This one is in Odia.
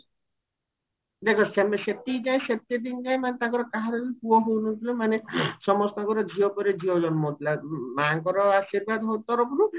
ଦେଖ ସେମ ସେତିକି time ସେତେ ଦିନ ଯାଏ ମାନେ ତାଙ୍କର କାହାର ବି ପୁଅ ହଉନଥିଲା ମାନେ ସମସ୍ତଙ୍କର ଝିଅ ପରେ ଝିଅ ଜନ୍ମ ହଉଥିଲା ମାଙ୍କର ଆଶୀର୍ବାଦ ତରଫରୁ